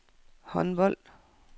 håndbold